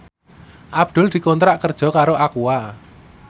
Abdul dikontrak kerja karo Aqua